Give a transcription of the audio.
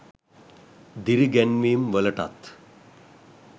දිරි ගැන්වීම්වලටත්